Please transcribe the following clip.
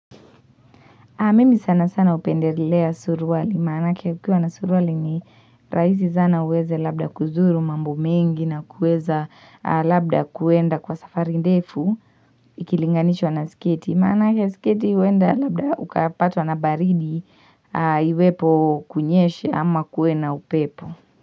Mimi sana sana hupendelea suruali. Manake ukiwa na suruali ni rahisi sana uweze labda kuzuru mambo mengi na kuweza labda kuenda kwa safari ndefu. Ikilinganishwa na sketi. Manake sketi huenda labda ukapatwa na baridi iwepo kunyeshe ama kuwe na upepo.